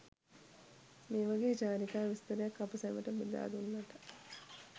මේ වගේ චාරිකා විස්තරයක් අප සැමට බෙදා දුන්නට